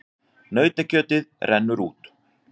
Nautakjötið rennur út